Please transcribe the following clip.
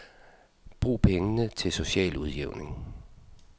Brug pengene til social udjævning.